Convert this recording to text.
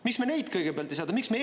Miks me neid kõigepealt ei saada?